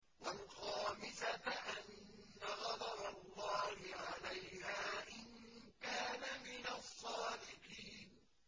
وَالْخَامِسَةَ أَنَّ غَضَبَ اللَّهِ عَلَيْهَا إِن كَانَ مِنَ الصَّادِقِينَ